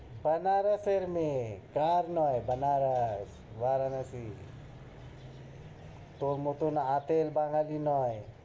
বানারসের মেয়ে, কার নয়, বানারস, বারানসি। তোর মতো আতেল বাঙ্গালী নয়,